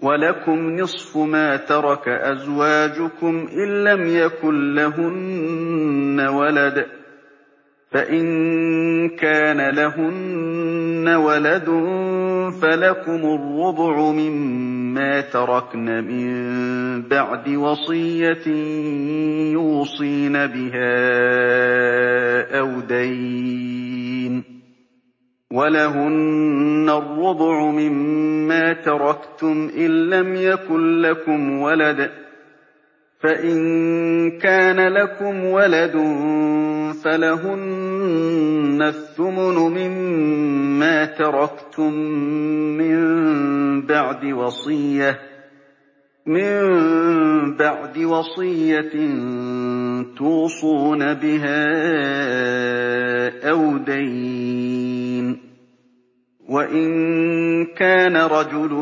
۞ وَلَكُمْ نِصْفُ مَا تَرَكَ أَزْوَاجُكُمْ إِن لَّمْ يَكُن لَّهُنَّ وَلَدٌ ۚ فَإِن كَانَ لَهُنَّ وَلَدٌ فَلَكُمُ الرُّبُعُ مِمَّا تَرَكْنَ ۚ مِن بَعْدِ وَصِيَّةٍ يُوصِينَ بِهَا أَوْ دَيْنٍ ۚ وَلَهُنَّ الرُّبُعُ مِمَّا تَرَكْتُمْ إِن لَّمْ يَكُن لَّكُمْ وَلَدٌ ۚ فَإِن كَانَ لَكُمْ وَلَدٌ فَلَهُنَّ الثُّمُنُ مِمَّا تَرَكْتُم ۚ مِّن بَعْدِ وَصِيَّةٍ تُوصُونَ بِهَا أَوْ دَيْنٍ ۗ وَإِن كَانَ رَجُلٌ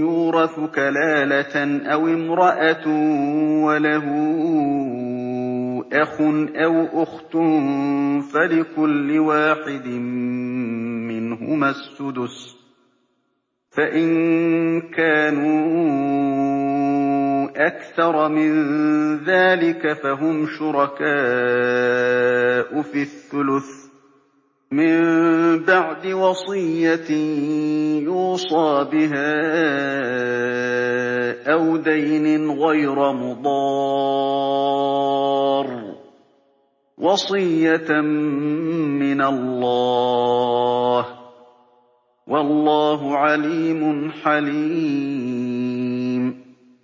يُورَثُ كَلَالَةً أَوِ امْرَأَةٌ وَلَهُ أَخٌ أَوْ أُخْتٌ فَلِكُلِّ وَاحِدٍ مِّنْهُمَا السُّدُسُ ۚ فَإِن كَانُوا أَكْثَرَ مِن ذَٰلِكَ فَهُمْ شُرَكَاءُ فِي الثُّلُثِ ۚ مِن بَعْدِ وَصِيَّةٍ يُوصَىٰ بِهَا أَوْ دَيْنٍ غَيْرَ مُضَارٍّ ۚ وَصِيَّةً مِّنَ اللَّهِ ۗ وَاللَّهُ عَلِيمٌ حَلِيمٌ